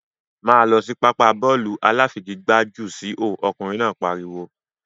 Máá lọ sí pápá bọ́ọ̀lù aláfigigbá jù síhò! ọkùnrin náà pariwo.